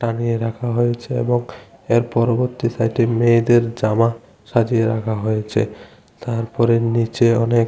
টানিয়ে রাখা হয়েছে এবং এর পরবর্তী সাইডে মেয়েদের জামা সাজিয়ে রাখা হয়েছে তারপরে নীচে অনেক--